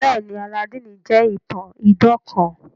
Bẹẹni, Alladini jẹ itan idan kan.